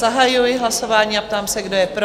Zahajuji hlasování a ptám se, kdo je pro?